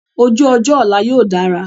Ojú ọjọ́ ọ̀la yóò dára.